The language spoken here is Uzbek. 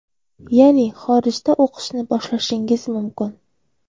Ya’ni xorijda o‘qishni boshlashingiz mumkin.